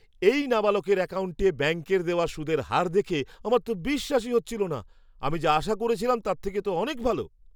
এই নাবালকের অ্যাকাউন্টে ব্যাঙ্কের দেওয়া সুদের হার দেখে আমার তো বিশ্বাসই হচ্ছিল না! আমি যা আশা করেছিলাম তার থেকে তো অনেক ভালো!